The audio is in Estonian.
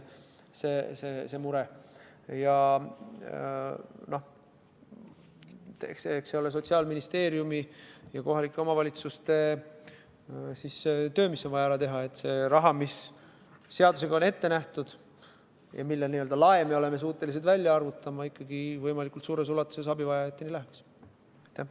Eks see ole Sotsiaalministeeriumi ja kohalike omavalitsuste töö, mis on vaja ära teha, et see raha, mis seadusega on ette nähtud ja mille n-ö lae me oleme suutelised välja arvutama, ikkagi võimalikult suures ulatuses läheks abivajajateni.